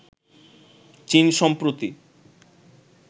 চীন সম্প্রতি